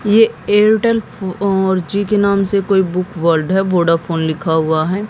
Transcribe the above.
ये Airtel four G के नाम से कोई बुक वर्ल्ड है वोडाफोन लिखा हुआ है।